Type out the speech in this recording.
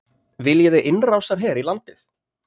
Viljiði innrásarher í landið?